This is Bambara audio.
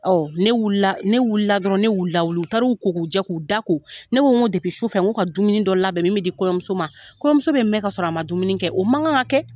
Ɔn ne wula dɔrɔn ne y'u la wuli. U taru ko k'u jɛ k'u da ko. Ne ko n go su fɛ u ka dumuni dɔ labɛn min be di kɔɲɔmuso ma . Kɔɲɔmuso bɛ mɛn ka sɔrɔ a ma dumuni kɛ. O man kan ka kɛ.